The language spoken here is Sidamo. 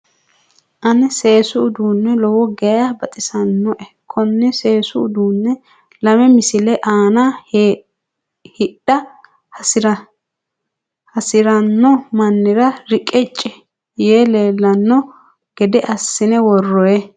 Ane seesu uduunne lowo geya baxisannoe. Konne seesu uduunne lame misile aana hidha hasiranno mannira reqecci yee leellano gede assine worroyi.